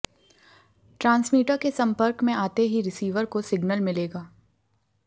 transmitter के संपर्क में आते ही रिसीवर को सिगनल मिलेगा